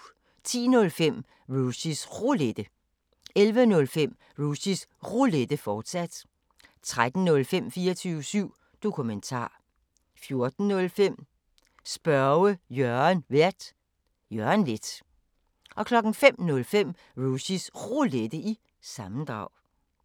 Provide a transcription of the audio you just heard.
10:05: Rushys Roulette 11:05: Rushys Roulette, fortsat 13:05: 24syv Dokumentar 14:05: Spørge Jørgen Vært: Jørgen Leth 05:05: Rushys Roulette – sammendrag